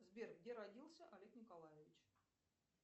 сбер где родился олег николаевич